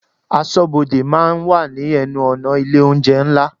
Aṣọ́bodè máa ń wà ní ẹnu-ọ̀nà ilé oúnjẹ ńlá.